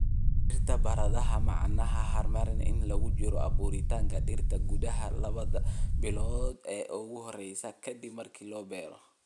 """ Dhirta baradhada macaan ee haramaha inta lagu jiro abuuritaanka dhirta & gudaha 2da bilood ee ugu horreeya ka dib marka la beero."